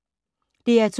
DR2